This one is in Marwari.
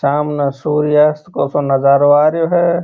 सामने सूर्य अस्त को नजारो आरो है।